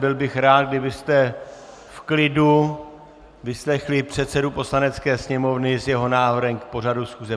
Byl bych rád, kdybyste v klidu vyslechli předsedu Poslanecké sněmovny s jeho návrhem k pořadu schůze.